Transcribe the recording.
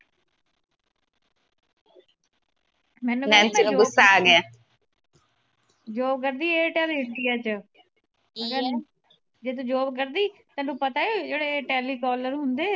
job ਕਰਦੀ airtel india ਚ ਜਿੱਥੇ job ਕਰਦੀ ਤੈਨੂੰ ਪਤਾ ਈ ਜਿਹੜੇ telecaller ਹੁੰਦੇ ਆ।